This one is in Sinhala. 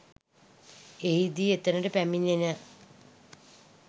එහිදී එතනට පැමිණෙන